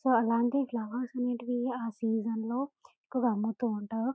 So అలాంటి flowers అనేటివి ఆ సీసన్స్లో ఎకువ అమ్ముతుంటారు.